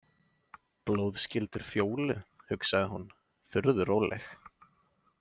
Blóðskyldur Fjólu, hugsaði hún, furðu róleg.